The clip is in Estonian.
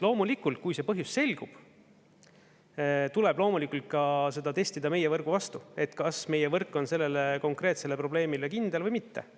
Loomulikult, kui see põhjus selgub, tuleb seda testida ka meie võrgu vastu, et kas meie võrk on sellele konkreetsele probleemile kindel või mitte.